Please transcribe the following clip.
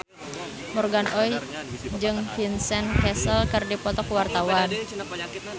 Morgan Oey jeung Vincent Cassel keur dipoto ku wartawan